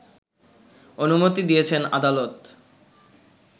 অনুমতি দিয়েছেন আদালত